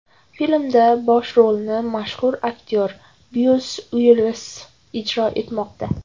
Filmda bosh rolni mashhur aktyor Byus Uillis ijro etmoqda.